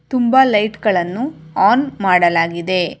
ತುಂಬಾ ಲೈಟ್ ಗಳನ್ನು ಆನ್ ಮಾಡಲಾಗಿದೆ.